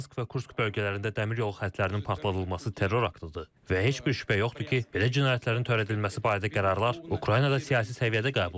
Bryansk və Kursk bölgələrində dəmir yolu xəttlərinin partladılması terror aktıdır və heç bir şübhə yoxdur ki, belə cinayətlərin törədilməsi barədə qərarlar Ukraynada siyasi səviyyədə qəbul olunub.